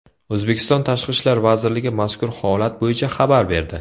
O‘zbekiston Tashqi ishlar vazirligi mazkur holat bo‘yicha xabar berdi .